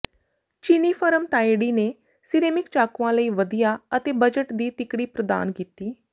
ਚੀਨੀ ਫਰਮ ਤਾਏਡੀ ਨੇ ਸਿਰੇਮਿਕ ਚਾਕੂਆਂ ਲਈ ਵਧੀਆ ਅਤੇ ਬਜਟ ਦੀ ਤਿਕੜੀ ਪ੍ਰਦਾਨ ਕੀਤੀ